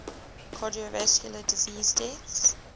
cardiovascular disease deaths